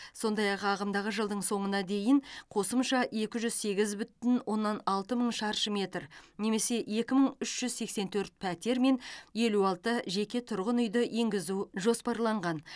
сондай ақ ағымдағы жылдың соңына дейін қосымша екі жүз сегіз бүтін оннан алты мың шаршы метр немесе екі мың үш жүз сексен төрт пәтер мен елу алты жеке тұрғын үйді енгізу жоспарланған